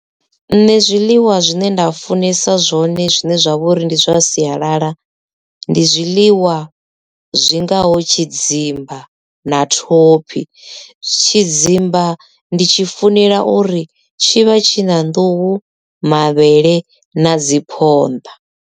Nṋe zwiḽiwa zwine nda funesa zwone zwine zwa vha uri ndi zwa sialala ndi zwiḽiwa zwingaho tshidzimba na thophi tshidzimba ndi tshi funela uri tshi vha tshi na nḓuhu, mavhele na dzi phonḓa.